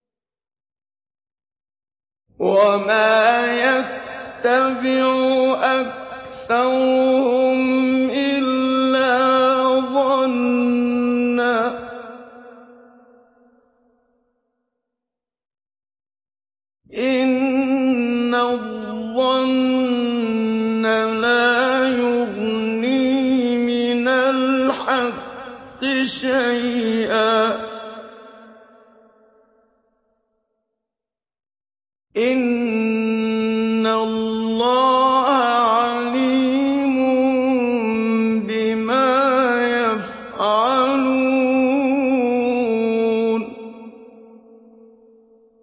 وَمَا يَتَّبِعُ أَكْثَرُهُمْ إِلَّا ظَنًّا ۚ إِنَّ الظَّنَّ لَا يُغْنِي مِنَ الْحَقِّ شَيْئًا ۚ إِنَّ اللَّهَ عَلِيمٌ بِمَا يَفْعَلُونَ